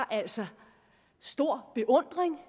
altså stor beundring